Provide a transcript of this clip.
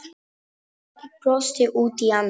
Örn brosti út í annað.